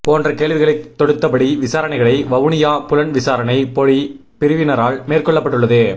போன்ற கேள்விகளை தொடுத்தபடி விசாரணைகளை வவுனியா புலன்விசாரணை பொலி பிரிவினரால் மேற்கொள்ளப்பட்டுள்ளது